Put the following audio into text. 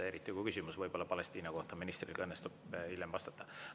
Küsimusele Palestiina kohta õnnestub ministril ehk hiljem vastata.